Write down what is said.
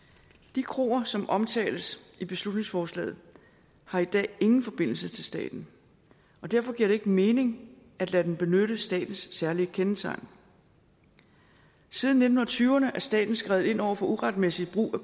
de kroer som omtales i beslutningsforslaget har i dag ingen forbindelse til staten og derfor giver det ikke mening at lade dem benytte statens særlige kendetegn siden nitten tyverne har staten skredet ind over for uretmæssigt brug af